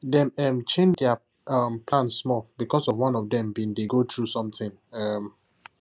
dem um change their um plan small because one of them been dey go through something um